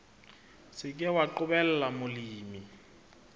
se ke wa qobella molemi